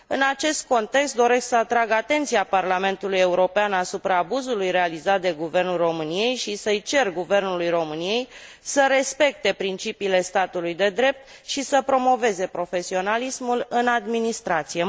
În acest context, doresc să atrag atenția Parlamentului European asupra abuzului realizat de Guvernul României și să i cer Guvernului României să respecte principiile statului de drept și să promoveze profesionalismul în administrație.